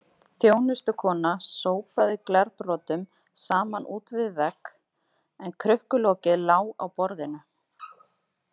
Þjónustukona sópaði glerbrotum saman út við vegg en krukkulokið lá á borðinu.